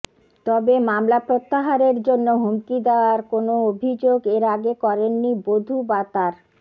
তবে মামলা প্রত্যাহারের জন্য হুমকি দেওয়ার কোনও অভিযোগ এর আগে করেননি বধূ বা তাঁর